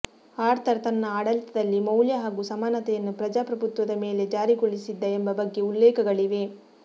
Arthur ತನ್ನ ಆಡಳಿತದಲ್ಲಿ ಮೌಲ್ಯ ಹಾಗು ಸಮಾನತೆಯನ್ನು ಪ್ರಜಾಪ್ರಭುತ್ವದ ಮೇಲೆ ಜಾರಿಗೊಳಿಸಿದ್ದ ಎಂಬ ಬಗ್ಗೆ ಉಲ್ಲೇಖಗಳಿವೆ